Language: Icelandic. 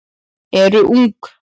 eru ung.